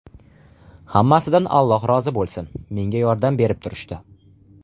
Hammasidan Alloh rozi bo‘lsin, menga yordam berib turishdi.